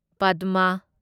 ꯄꯥꯗꯃ